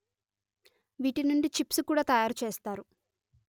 వీటినుండి chips కూడా తయారు చేస్తారు